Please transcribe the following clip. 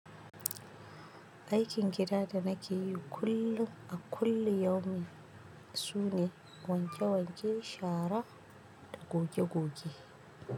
Aikin gida da nake yi kullum a kullum yau min, sune wanke wanke shara da goge goge.